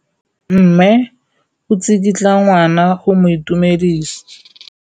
Mme o tsikitla ngwana go mo itumedisa.